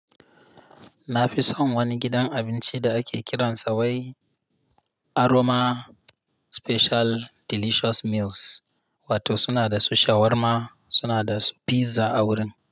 Na fi son wani gidan abinci da ake kiransa wai Aroma Special Delicious Meals, wato suna da su shawarma, suna da su pizza a wurin.